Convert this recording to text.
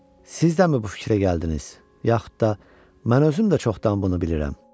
Siz dəmi bu fikrə gəldiniz, yaxud da mən özüm də çoxdan bunu bilirəm.